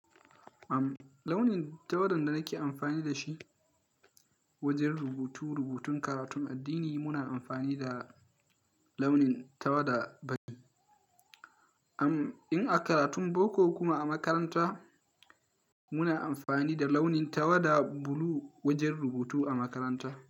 Am, launin tawada da nake amfani da shi wajen rubutu-rubutun karatun addini muna amfani da launin tawada fari. Am, in a karatun boko kuma a makaranta muna amfani da launin tawada bulu wajen rubutu a makaranta.